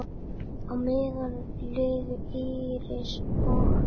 Á meðan liðu Íris og